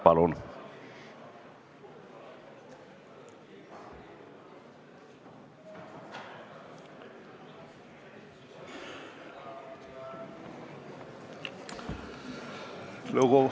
Palun!